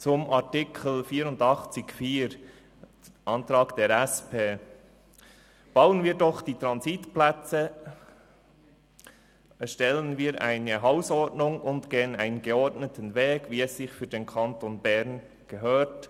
Zu Artikel 84 Absatz 4 Antrag der SP-JUSO-PSA: Bauen wir doch die Transitplätze, erstellen wir eine Hausordnung und gehen einen geordneten Weg, wie es sich für den Kanton Bern gehört.